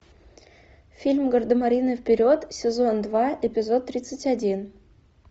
фильм гардемарины вперед сезон два эпизод тридцать один